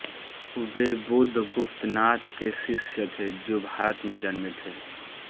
वे बुद्धगुप्तनाथ के शिष्य थे जो भारत में जन्मे थे